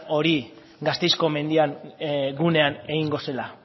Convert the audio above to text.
hori gasteizko mendian gunean egingo zela